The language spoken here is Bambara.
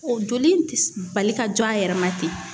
O joli in ti bali ka jɔ a yɛrɛ ma ten.